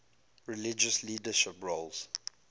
religious leadership roles